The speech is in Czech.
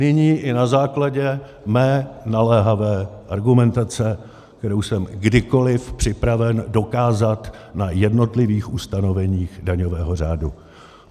Nyní i na základě mé naléhavé argumentace, kterou jsem kdykoliv připraven dokázat na jednotlivých ustanoveních daňového řádu.